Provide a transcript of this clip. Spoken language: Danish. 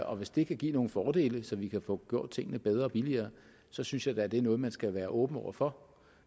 og hvis det kan give nogle fordele så vi kan få gjort tingene bedre og billigere så synes jeg da at det er noget man skal være åben over for